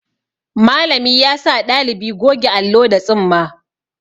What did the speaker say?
Malami yasa ɗalibi goge allo da tsumma.